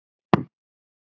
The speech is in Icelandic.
Var hún ekki ein?